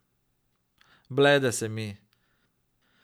Blede se mi.